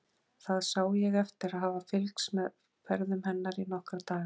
Það sá ég eftir að hafa fylgst með ferðum hennar í nokkra daga.